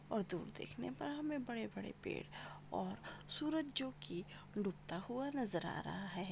और दुर देखने पर हमे बड़े बड़े पेड़ और सूरज जो की डूबता हुआ नजर आ रहा है।